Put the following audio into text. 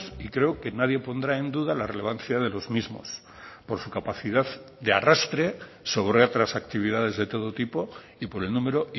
y creo que nadie pondrá en duda la relevancia de los mismos por su capacidad de arrastre sobre otras actividades de todo tipo y por el número